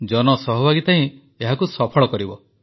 ଜନସହଭାଗିତା ହିଁ ଏହାକୁ ସଫଳ କରିବ